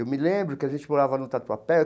Eu me lembro que a gente morava no Tatuapé.